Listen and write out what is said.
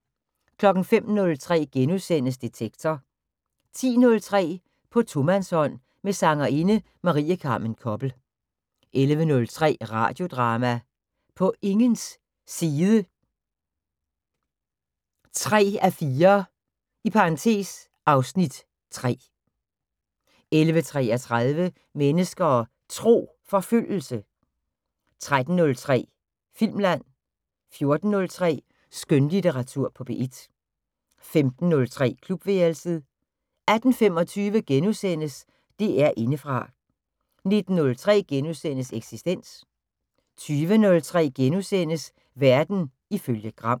05:03: Detektor * 10:03: På tomandshånd med sangerinde Marie Carmen Koppel 11:03: Radiodrama: På ingens side 3:4 (Afs. 3) 11:33: Mennesker og Tro: Forfølgelse 13:03: Filmland 14:03: Skønlitteratur på P1 15:03: Klubværelset 18:25: DR Indefra * 19:03: Eksistens * 20:03: Verden ifølge Gram *